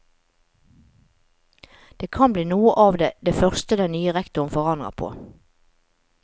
Det kan bli noe av det første den nye rektoren forandrer på.